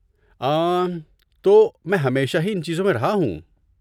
آں، تو، میں ہمیشہ ہی ان چیزوں میں رہا ہوں۔